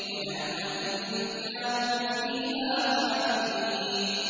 وَنَعْمَةٍ كَانُوا فِيهَا فَاكِهِينَ